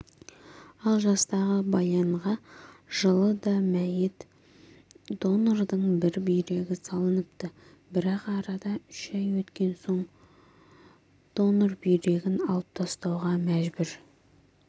ал жастағы баянға жылы да мәйіт донордың бір бүйрегі салыныпты бірақ арада үш ай өткен соң донор бүйрегін алып тастауға мәжбүр